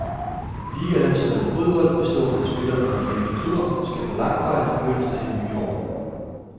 Ligalandsholdet i fodbold, bestående af spillere fra de hjemlige klubber, skal på langfart i begyndelsen af det nye år.